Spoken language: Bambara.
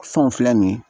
Fɛnw filɛ nin ye